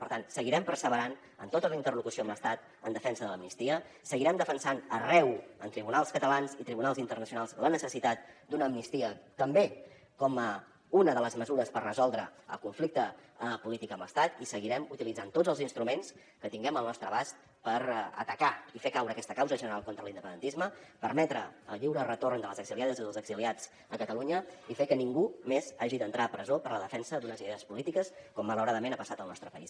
per tant seguirem perseverant en tota la interlocució amb l’estat en defensa de l’amnistia seguirem defensant arreu en tribunals catalans i tribunals internacionals la necessitat d’una amnistia també com una de les mesures per resoldre el conflicte polític amb l’estat i seguirem utilitzant tots els instruments que tinguem al nostre abast per atacar i fer caure aquesta causa general contra l’independentisme permetre el lliure retorn de les exiliades i dels exiliats a catalunya i fer que ningú més hagi d’entrar a presó per la defensa d’unes idees polítiques com malauradament ha passat al nostre país